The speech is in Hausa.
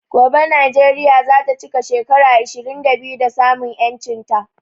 Gobe Nijeria zata chika shekara ishirin da biyu da samun yanchin ta